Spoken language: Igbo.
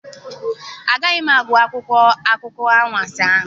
Agaghị m agụ akwụkwọ akụkọ anwansi ahụ.